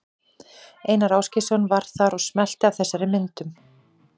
Einar Ásgeirsson var þar og smellti af þessum myndum.